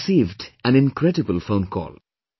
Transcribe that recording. I have received an incredible phone call